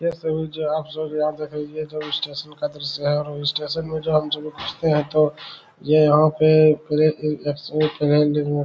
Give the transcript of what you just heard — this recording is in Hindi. यह सभी जो है आप सब याद रख लीजिए ये सब स्टेशन का दृश्य है और जो स्टेशन का दृश्य है और स्टेशन में जब हमलोग घुसते हैं है तो ये यहां पे --